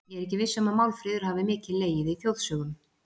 Ég er ekki viss um að Málfríður hafi mikið legið í þjóðsögum.